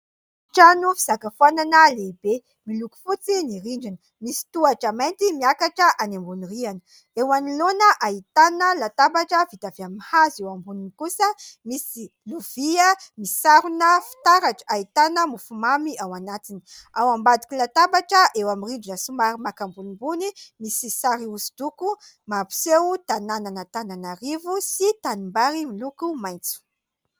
Trano fisakafoanana lehibe. Miloko fotsy ny rindrina ; misy tohatra mainty miakatra any ambony rihana ; eo anoloana ahitana latabatra vita avy amin'ny hazo ; eo amboniny kosa misy lovia misarona fitaratra (Ahitana mofo mamy ao anatiny). Ao ambadika ny latabatra, eo amin'ny rindrina somary maka ambonimbony, misy sari-na hosidoko mampiseho tanan'Antananarivo sy tanimbary miloko maintso.